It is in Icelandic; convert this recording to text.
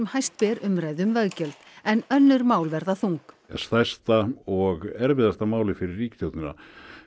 hæst ber umræðu um veggjöld en önnur mál verða þung stærsta og erfiðasta málið fyrir ríkisstjórnina